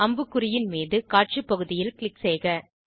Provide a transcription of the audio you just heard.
அம்புக்குறியின் மீது காட்சி பகுதியில் க்ளிக் செய்க